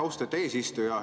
Austet eesistuja!